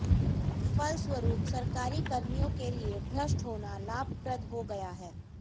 फलस्वरूप सरकारी कर्मियों के लिए भ्रष्ट होना लाभप्रद हो गया है